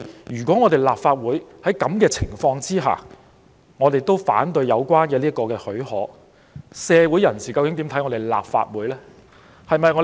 如果立法會在這種情況下反對給予許可，社會人士會對立法會有何印象？